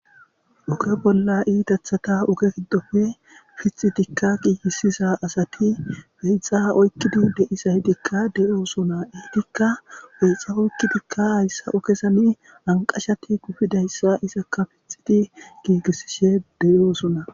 Oge bolla idaththatha oge giddoppe piththidikka giigissiza asati hiithaa oykkidi de7izaydekka de7oosana; etikka peeca oykidikka ayssa sa7o keesanii anqqashati kufidayssa piththidi giigissishe de7oosona.